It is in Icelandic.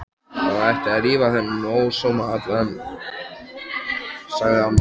Það ætti að rífa þennan ósóma allan, sagði amma.